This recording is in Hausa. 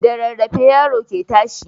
Da rarrafe yaro ke tashi